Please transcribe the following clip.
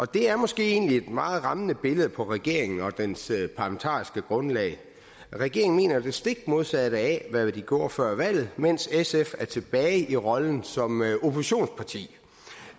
det er måske egentlig et meget rammende billede af regeringen og dens parlamentariske grundlag regeringen mener det stik modsatte af hvad de gjorde før valget mens sf er tilbage i rollen som oppositionsparti